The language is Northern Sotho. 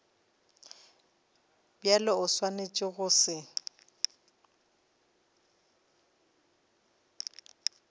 bjalo o swanetše go se